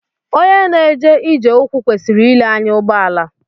Onye na-eje ije ụkwụ kwesịiri ile anya ụgbọala